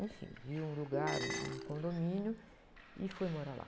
Enfim, vi um lugar, um, um condomínio e fui morar lá.